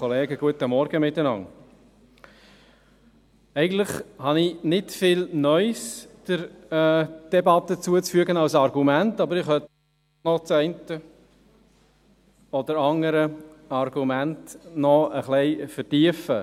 Eigentlich habe ich der Debatte nicht viel Neues hinzuzufügen, aber ich könnte das eine oder andere Argument noch ein wenig vertiefen.